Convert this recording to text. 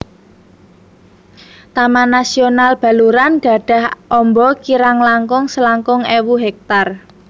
Taman Nasional Baluran gadhah amba kirang langkung selangkung ewu hektar